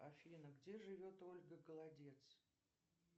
афина где живет ольга голодец